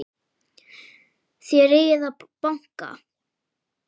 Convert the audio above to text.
Þér eigið að banka!